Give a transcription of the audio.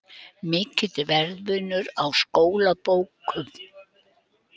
Mikill verðmunur á skólabókum